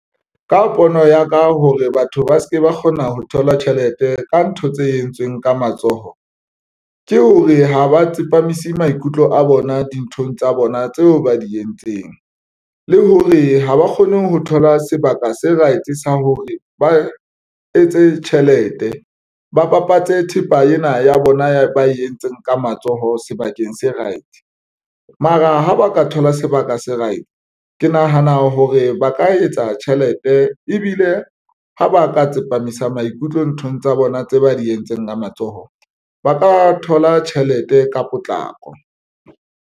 Ka pono ya ka hore batho ba se ke ba kgona ho thola tjhelete ka ntho tse entsweng ka matsoho ke hore ha ba tsepamise maikutlo a bona dinthong tsa bona tseo ba di entseng, le hore ha ba kgone ho thola sebaka se right sa hore ba etse tjhelete, ba bapatse thepa ena ya bona ba e entseng ka matsoho sebakeng se right. Mara ha ba ka thola sebaka se right. Ke nahana hore ba ka etsa tjhelete ebile ha ba ka tsepamisa maikutlo nthong tsa bona tse ba di entseng ka matsoho, ba ka thola tjhelete ka potlako.